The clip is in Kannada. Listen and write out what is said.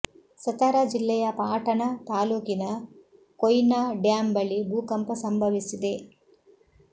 ಸತಾರ ಜಿಲ್ಲೆಯ ಪಾಟಣ ತಾಲೂಕಿನ ಕೊಯ್ನಾ ಡ್ಯಾಂ ಬಳಿ ಭೂಕಂಪ ಸಂಭವಿಸಿದೆ